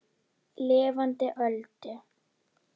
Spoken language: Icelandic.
Lifandi Öldu.